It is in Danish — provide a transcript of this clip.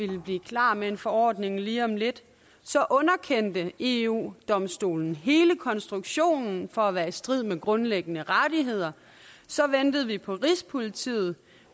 ville blive klar med en forordning lige om lidt så underkendte eu domstolen hele konstruktionen for at være i strid med grundlæggende rettigheder så ventede vi på rigspolitiet